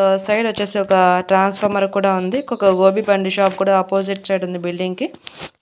ఆ సైడ్ వొచ్చేసి ఒక ట్రాన్స్ఫార్మర్ కూడా ఉంది ఒక గోబీ బండి షాప్ కూడా ఆపోజిట్ సైడ్ ఉంది బిల్డింగ్ కి